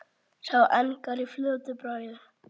Sá engar í fljótu bragði.